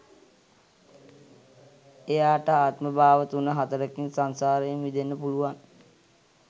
එයාට ආත්මභාව තුන හතරකින් සංසාරයෙන් මිදෙන්න පුළුවන්.